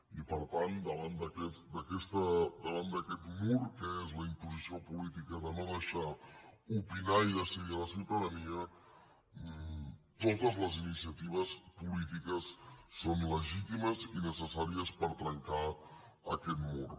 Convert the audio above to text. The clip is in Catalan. i per tant davant d’aquest mur que és la imposició política de no deixar opinar i decidir a la ciutadania totes les iniciatives polítiques són legítimes i necessàries per trencar aquest mur